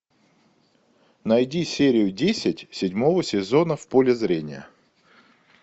найди серию десять седьмого сезона в поле зрения